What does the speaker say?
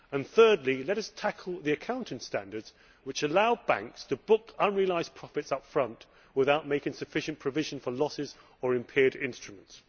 Thirdly, let us tackle the accounting standards which allow banks to book unrealised profits up front without making sufficient provision for losses or impaired instruments.